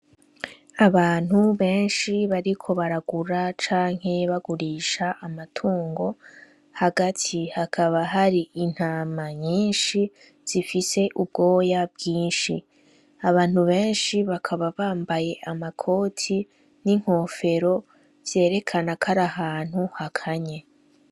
Abantu benshi bariko baragura canke bagurisha amatungo hagati hakaba hari intama nyinshi zifise ubwoya bwinshi, abantu benshi bakaba bambaye amakoti n'inkofero vyerekana karahantu hakanya.